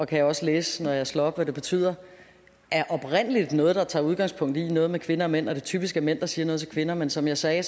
kan jeg også læse når jeg slår op hvad det betyder oprindelig er noget der tager udgangspunkt i noget med kvinder og mænd og at det typisk er mænd der siger noget til kvinder men som jeg sagde